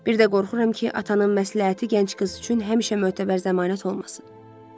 Bir də qorxuram ki, atanın məsləhəti gənc qız üçün həmişə mötəbər zəmanət olmasın.